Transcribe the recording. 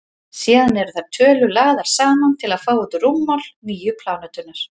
síðan eru þær tölur lagðar saman til að fá út rúmmál nýju plánetunnar